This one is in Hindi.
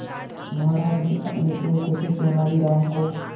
महाराज ने अपने सेवकों से तेनालीराम को